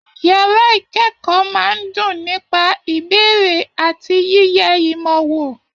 Yàrá ikẹkọọ máa n dùn nípa ìbéèrè àti yiyẹ ìmọ wò.